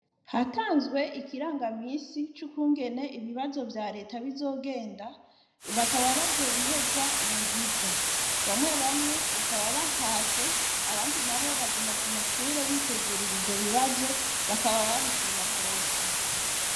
Hatanzwe ikiranga misi c'ukungene ibibazo vya leta bizogenda bakaba bazobiheza mu ndwiza bamwe bamwe bakaba batashe abandi na bo baguma ku mashure bitegurira ivyo bibazo bakaba babishima rwose.